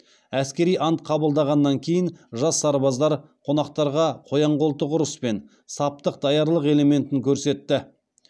әскери ант қабылдағаннан кейін жас сарбаздар қонақтарға қоян қолтық ұрыс пен саптық даярлық элементін көрсетті